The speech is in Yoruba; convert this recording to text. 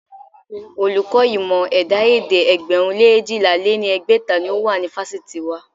Olùkọ́ ìmọ̀ ẹ̀dá-èdè ẹgbẹ̀rún lé eéjìlá lé ní ẹgbẹ́ta ni ó wà ní fásitì wa.